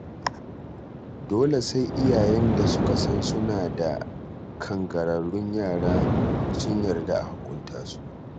Dole sai iyayen da suka san suna da kangararrun yara sun yarda a hukunta su.